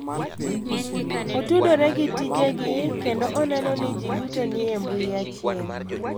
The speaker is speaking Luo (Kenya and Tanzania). Otudore gi tijegi kendo oneno ni ji duto ni e mbui achiel.